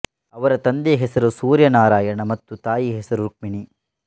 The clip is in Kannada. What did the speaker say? ಅವರ ತಂದೆಯ ಹೆಸರು ಸೂರ್ಯನಾರಾಯಣ ಮತ್ತು ತಾಯಿಯ ಹೆಸರು ರುಕ್ಮಿಣಿ